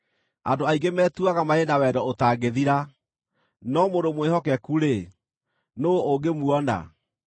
Andũ aingĩ metuaga marĩ na wendo ũtangĩthira, no mũndũ mwĩhokeku-rĩ, nũũ ũngĩmuona?